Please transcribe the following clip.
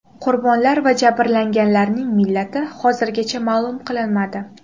Qurbonlar va jabrlanganlarning millati hozircha ma’lum qilinmadi.